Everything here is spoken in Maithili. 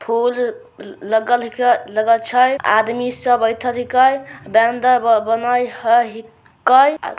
फुल ल लगल हई के लगल छै। आदमी सब बइठल हकै बनल हई हकै।